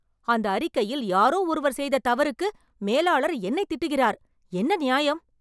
அந்த அறிக்கையில் யாரோ ஒருவர் செய்த தவறுக்கு மேலாளர் என்னைத் திட்டுகிறார். என்ன நியாயம்?